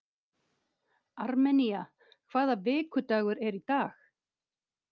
Armenía, hvaða vikudagur er í dag?